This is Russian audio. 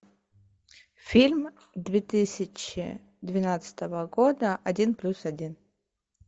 фильм две тысячи двенадцатого года один плюс один